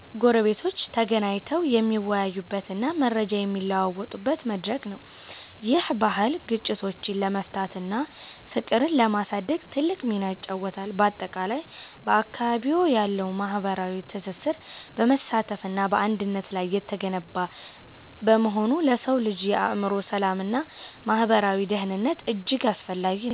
ጎረቤቶች ተገናኝተው የሚወያዩበትና መረጃ የሚለዋወጡበት መድረክ ነው። ይህ ባህል ግጭቶችን ለመፍታትና ፍቅርን ለማሳደግ ትልቅ ሚና ይጫወታል። ባጠቃላይ፣ በአካባቢዎ ያለው ማህበራዊ ትስስር በመተሳሰብና በአንድነት ላይ የተገነባ በመሆኑ ለሰው ልጅ የአእምሮ ሰላምና ማህበራዊ ደህንነት እጅግ አስፈላጊ ነው።